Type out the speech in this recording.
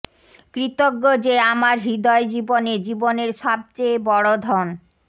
কৃতজ্ঞ যে আমার হৃদয় জীবনে জীবনের সবচেয়ে বড় ধন